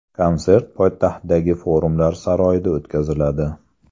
Konsert poytaxtdagi Forumlar saroyida o‘tkaziladi.